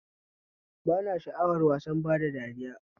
Ba na sha'awar wasan bada dariya